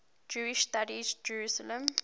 jewish studies jerusalem